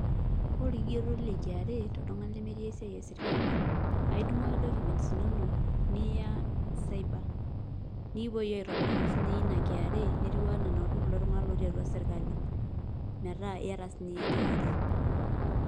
Ore olkigeroto le KRA toltungani lemetii esia e serkali, aa idumu ake documents inonok niya cyber nikipuoi aitobiraki sii niye iyie ina Kra nitiwua anaa kulo tungana ootii atua serkali metaa iyata sii ninye iyie KRA.